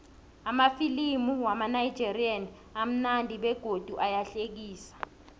amafilimu wamanigerian amunandi begodu ayahlekisa